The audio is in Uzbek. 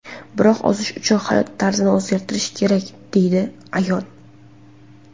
Biroq ozish uchun hayot tarzini o‘zgartirish kerak”, deydi ayol.